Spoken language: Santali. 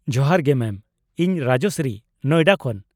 -ᱡᱚᱦᱟᱨ ᱜᱮ ᱢᱮᱢ, ᱤᱧ ᱨᱟᱡᱚᱥᱥᱨᱤ, ᱱᱚᱭᱰᱟ ᱠᱷᱚᱱ ᱾